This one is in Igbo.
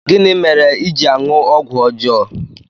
Gịnị mere i ji aṅụ ọgwụ ọjọọ?